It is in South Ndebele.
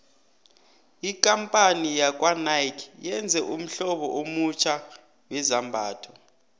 ikampani yakwanike yenze ummhlobo omutjha wezambhatho